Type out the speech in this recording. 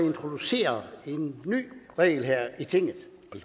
introducere en ny regel her i tinget